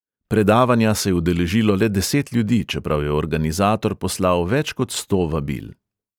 Predavanja se je udeležilo le deset ljudi, čeprav je organizator poslal več kot sto vabil.